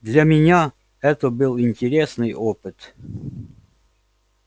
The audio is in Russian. для меня это был интересный опыт